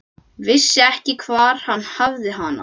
Vissi ekki hvar hann hafði hana.